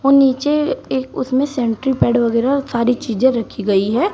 नीचे एक उसमें सेंट्री पैड़ वगैरह सारी चीजें रखी गई है।